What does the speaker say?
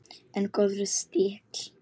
En góður stíll!